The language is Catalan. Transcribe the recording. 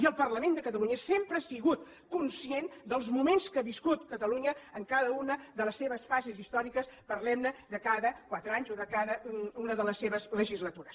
i el parlament de catalunya sempre ha sigut conscient dels moments que ha viscut catalunya en cada una de les seves fases històriques parlem ne de cada quatre anys o de cada una de les seves legislatures